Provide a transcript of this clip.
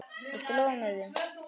Viltu lofa mér því?